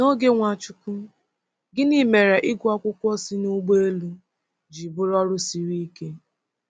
N’oge Nwachukwu, gịnị mere ịgụ akwụkwọ si n’ụgbọ elu ji bụrụ ọrụ siri ike?